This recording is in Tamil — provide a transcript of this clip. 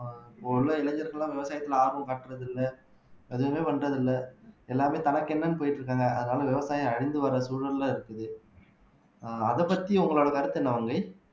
இப்போ உள்ள இளைஞர்கள் எல்லாம் விவசாயத்துல ஆர்வம் காட்டுறது இல்ல எதுவுமே பண்றது இல்ல எல்லாமே தனக்கு என்னன்னு போயிட்டு இருக்காங்க அதனால விவசாயம் அழிஞ்சு வர சூழல்ல இருக்குது அதைப் பத்தி உங்களோட கருத்து என்ன மங்கை